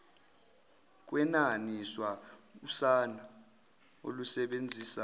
kwenaniswa usana olusebenzisa